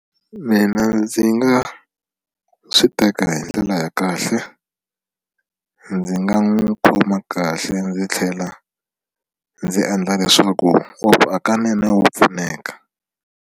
Mina ndzi nga swi teka hi ndlela ya kahle ndzi nga n'wi khoma kahle ndzi tlhela ndzi endla leswaku hakunene wa pfuneka.